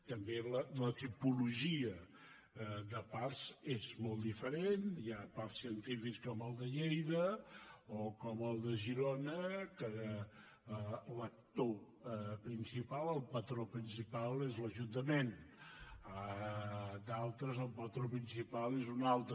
també la tipologia de parcs és molt diferent hi ha parcs científics com el de lleida o com el de girona que l’actor principal el patró principal és l’ajuntament d’altres el patró principal és un altre